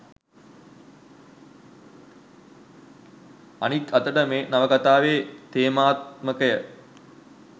අනික් අතට මේ නවකතාවේ තේමාත්මකය